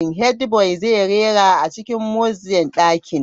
Headboy zai rera a cikin music dakin.